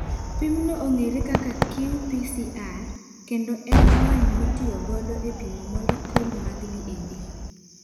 Pimno ong'ere kaka qPCR, kendo en lony mitiyogodo e pimo molekule mag DNA.